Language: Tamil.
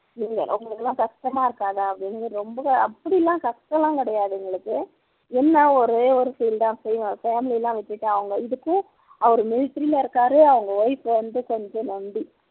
இல்ல உங்களுக்கெல்லாம் கஷ்டமா இருக்காதா அப்படின்னு ரொம்பவே அப்படி எல்லாம் கிடையாது எங்களுக்கு என்ன ஒரே ஒரு feel தான் family எல்லாம் விட்டுட்டு அவங்க இதுக்கு அவர் military லஇருக்காரு அவங்க wife வந்து கொஞ்சம் நொண்டி